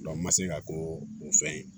n ma se ka ko o fɛn ye